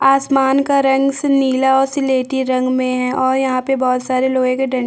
आसमान का रंग सुनीला और स्लेटी रंग मे है और यहाँ पे बहोत सारे लोहे के डं --